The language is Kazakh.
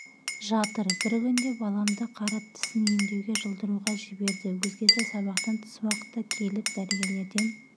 жатыр бір күнде баламды қарап тісін емдеуге жұлдыруға жіберді өзгесі сабақтан тыс уақытта келіп дәрігерлерден